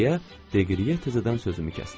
deyə Deqriyeyə təzədən sözümü kəsdi.